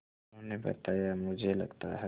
उन्होंने बताया मुझे लगता है